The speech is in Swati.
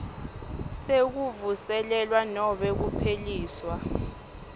sekuvuselelwa nobe kupheliswa